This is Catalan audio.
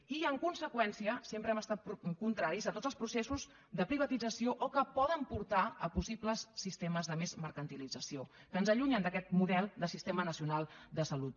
i en conseqüència sempre hem estat contraris a tots els processos de privatització o que poden portar a possibles sistemes de més mercantilització que ens allunyen d’aquest model de sistema nacional de salut